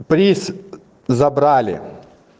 приз забрали